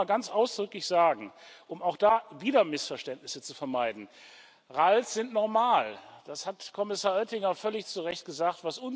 Ich will noch mal ganz ausdrücklich sagen um auch da wieder Missverständnisse zu vermeiden RAL sind normal, das hat Kommissar Oettinger völlig zu Recht gesagt.